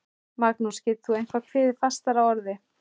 Magnús, getur þú eitthvað kveðið fastar að orði?